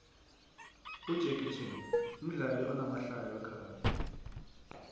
ujacky chain mdlali onamahlaya wekaxadi